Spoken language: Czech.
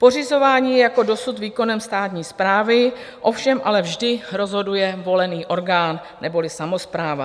Pořizování je jako dosud výkonem státní správy, ovšem ale vždy rozhoduje volený orgán neboli samospráva.